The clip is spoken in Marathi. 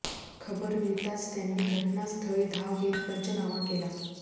खबर मिळताच त्यांनी घटनास्थळी धाव घेत पंचनामा केला